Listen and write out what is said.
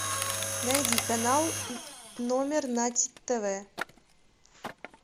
найди канал номер на тв